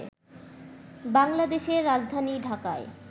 বাংলাদেশের রাজধানী ঢাকায়